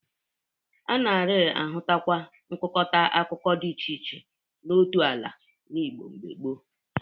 A nari-ahụtakwa nkụkọta akụkụ dị iche iche n'otu ala n'Igbo gboo.